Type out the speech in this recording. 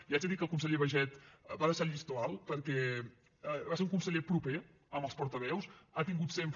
li haig de dir que el conseller baiget va deixar el llistó alt perquè va ser un conseller proper amb els portaveus ha tingut sempre